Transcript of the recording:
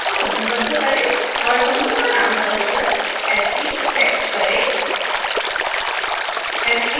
spoken tutorial layer को समूहबद्ध करें और समूह का नाम बदल कर sttext करें